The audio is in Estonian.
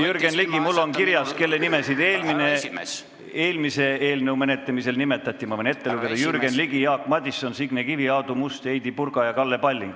Jürgen Ligi, mul on kirjas, kelle nimesid eelmise eelnõu menetlemisel nimetati, ma võin ette lugeda: Jürgen Ligi, Jaak Madison, Signe Kivi, Aadu Must, Heidy Purga ja Kalle Palling.